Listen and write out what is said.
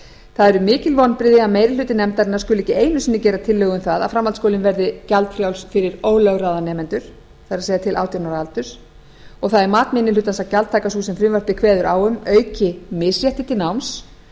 eru mikil vonbrigði að meiri hluti nefndarinnar skuli ekki einu sinni gera tillögu um að framhaldsskólinn verði gjaldfrjáls fyrir ólögráða nemendur það er til átján ára aldurs það er mat minni hlutans að gjaldtaka sú sem frumvarpið kveður á um auki misrétti til náms